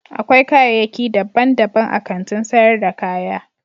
Akwai kayaki dabban dabban a Kantin sayar da kaya